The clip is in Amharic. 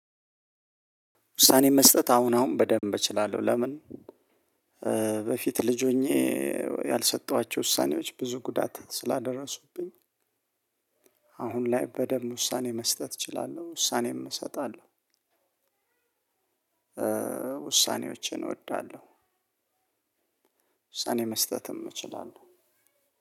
ውሳኔ መስጠት አሁን አሁን በደንብ እችላለሁ ለምን በፊት ልጅ ሆኜ ያልሰጠኋቸው ውሳኔዎች ብዙ ጉዳት ስላደረሱብኝ። አሁን ላይ በደንብ ውሳኔ መስጠት እችላለሁ ውሳኔም እሰጣለሁ ውሳኔዎችን እወዳለሁ። ውሳኔ መስጠትም እችላለሁ